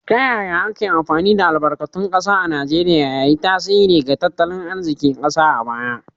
Ta yaya ake amfani da albarkatun kasa a Najeriya, ya yi tasiri ga tattalin arzikin kasar a baya?